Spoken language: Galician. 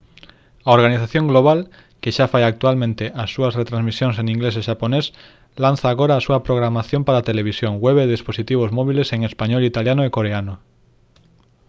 a organización global que xa fai actualmente as súas retransmisións en inglés e xaponés lanza agora a súa programación para televisión web e dispositivos móbiles en español italiano e coreano